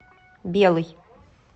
белый